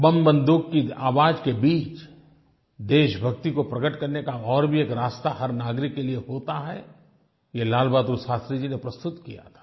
बमबन्दूक की आवाज़ के बीच देशभक्ति को प्रकट करने का और भी एक रास्ता हर नागरिक के लिये होता है ये लालबहादुर शास्त्री जी ने प्रस्तुत किया था